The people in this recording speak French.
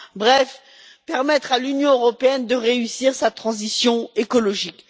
bref, permettre à l'Union européenne de réussir sa transition écologique.